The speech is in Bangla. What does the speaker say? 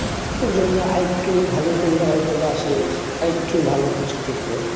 একটুর জন্য আরেকটু ভালো করলে হয়তো বা সে আরেকটু ভালো কিছু পেতো